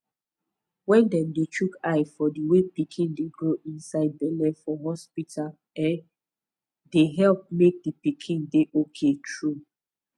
wen dem dey chook eye for the way pikin dey grow inside belle for hospita um dey help make d pikin dey ok tru